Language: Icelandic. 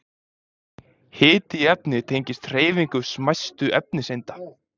Hiti í efni tengist hreyfingu smæstu efniseinda.